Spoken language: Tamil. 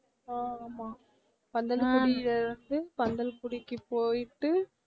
ஆஹ் ஆமாம் பந்தலகுடியிலிருந்து பந்தல்குடிக்கு போயிட்டு